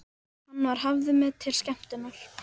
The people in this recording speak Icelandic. Hann var hafður með til skemmtunar.